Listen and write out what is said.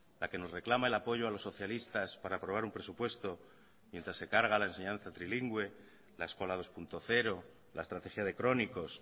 la que nos reclama el apoyo a los socialistas para aprobar un presupuesto mientras se carga la enseñanza trilingüe la eskola dos punto cero la estrategia de crónicos